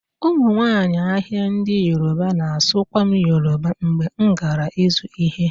Ụmụnwaanyị ahịa ndị yoruba na-asụkwa m Yoruba mgbe m gara ịzụ ihe